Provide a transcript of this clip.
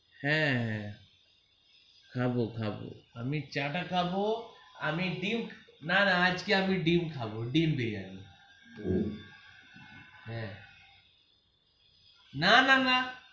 হ্যা হ্যা খাবো খাবো আমি চাটা খাবো আমি ডিম্ না না আজকে আমি ডিম্ খাবই ডিম্ বিরিয়ানি হ্যা না না না.